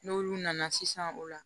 N'olu nana sisan o la